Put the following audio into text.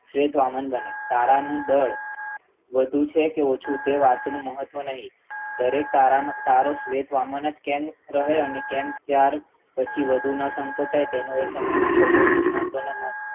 શેઠ રામન બને તારાનું બળ વધુ છેકે ઓછુ તે વાતનું મહત્વ નહી દરેક તારા નું તારો શેઠ રામન કેન બરાબર કેમ કેવાનું પછી વધુ ના સંકોચાય નિષ્ણાંત